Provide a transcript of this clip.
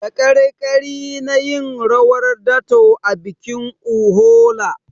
Dakarkari na yin rawar dato a bikin Uhola.